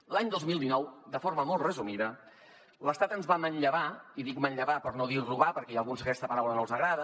l’any dos mil dinou de forma molt resumida l’estat ens va manllevar i dic manllevar per no dir robar perquè hi ha alguns que aquesta paraula no els agrada